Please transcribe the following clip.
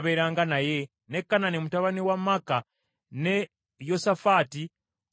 ne Kanani mutabani wa Maaka, ne Yosafaati Omumisuni,